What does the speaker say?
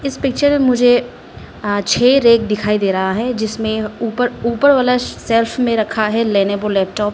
इस पिक्चर मुझे अ छे रेक दिखाई दे रहा है जिसमें ऊपर ऊपर वाला सेल्फ में रखा है लेनेवो लैपटॉप्स --